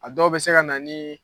A dɔw bi se ka na ni